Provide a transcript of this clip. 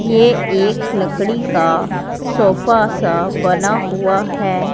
ये एक लकड़ी का सोफा सा बना हुआ है।